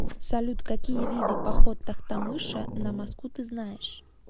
салют какие виды поход тохтамыша на москву ты знаешь